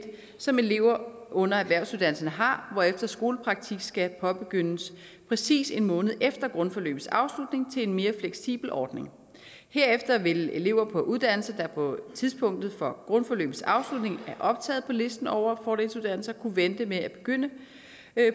som elever under erhvervsuddannelserne har hvorefter skolepraktik skal påbegyndes præcis en måned efter grundforløbets afslutning til en mere fleksibel ordning herefter vil elever på uddannelser der på tidspunktet for grundforløbets afslutning er optaget på listen over fordelsuddannelser kunne vente med at begynde